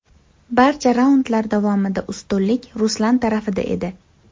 Barcha raundlar davomida ustunlik Ruslan tarafida edi.